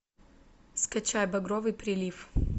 скачай багровый прилив